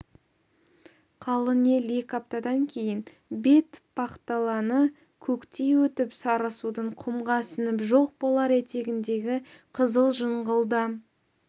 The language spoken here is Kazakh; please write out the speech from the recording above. қалың ел екі аптадан кейін бетпақдаланы көктей өтіп сарысудың құмға сіңіп жоқ болар етегіндегі қызыл жыңғылда